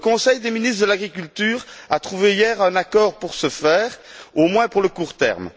Le Conseil des ministres de l'agriculture a trouvé hier un accord pour ce faire, au moins pour le court terme.